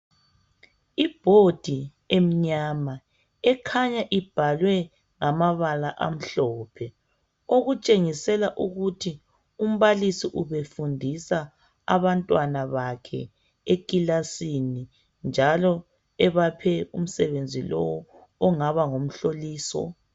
Ibhodi emnyama ekhanya ibhalwe ngamabala amhlophe. Okutshengisela ukuthi umbalisi ubefundisa abantwana bakhe ekilasini njalo ebaphe umsebenzi lowu ongaba ngumhloliso .